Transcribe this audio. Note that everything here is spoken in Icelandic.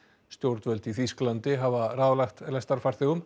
stjórnvöld í Þýskalandi hafa ráðlagt